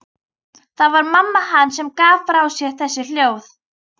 Það var mamma hans sem gaf frá sér þessi hljóð.